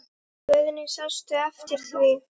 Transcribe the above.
Guðný: Sástu eftir því?